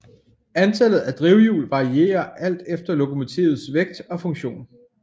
Antallet af drivhjul varier alt efter lokomotivets vægt og funktion